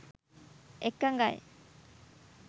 එකඟයි